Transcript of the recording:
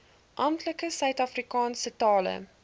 amptelike suidafrikaanse tale